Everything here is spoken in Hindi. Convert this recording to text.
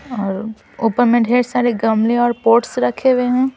और ऊपर में ढेर सारे गमले और पोर्ट्स रखे हुए हैं.